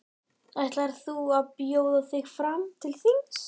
Ætlar þú að bjóða þig fram til þings?